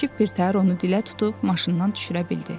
Akif birtəhər onu dilə tutub maşından düşürə bildi.